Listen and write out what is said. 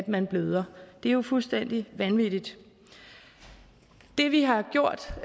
man bløder det er jo fuldstændig vanvittigt det vi har gjort